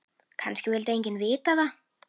Kannski vildi enginn vita það.